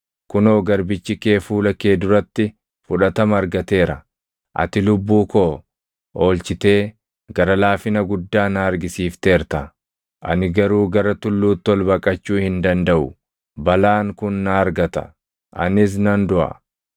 Kunoo garbichi kee fuula kee duratti fudhatama argateera; ati lubbuu koo oolchitee gara laafina guddaa na argisiifteerta. Ani garuu gara tulluutti ol baqachuu hin dandaʼu; balaan kun na argata; anis nan duʼa.